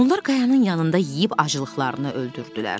Onlar qayanın yanında yeyib aclıqlarını öldürdülər.